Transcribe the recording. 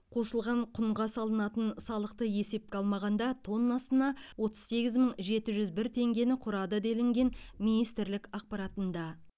қосылған құнға салынатын салықты есепке алмағанда тоннасына отыз сегіз мың жеті жүз бір теңгені құрады делінген министрлік ақпаратында